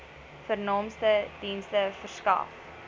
vernaamste dienste verskaf